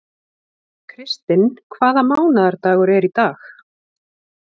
Kristinn, hvaða mánaðardagur er í dag?